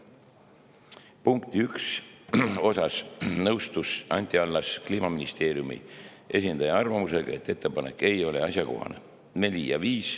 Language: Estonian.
nr 1 puhul nõustus Anti Allas Kliimaministeeriumi esindaja arvamusega, et ettepanek ei ole asjakohane.